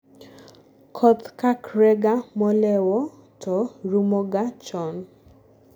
koth chakrega molewo to rumoga chon